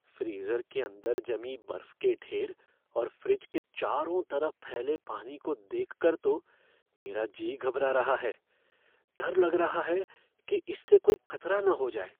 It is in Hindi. फ़्रीज़र के अंदर जमी बर्फ के ढेर और फ़्रिज के चारों तरफ फैले पानी को देखकर तो मेरा जी घबरा रहा है, डर लग रहा है कि इससे कोई खतरा न हो जाए।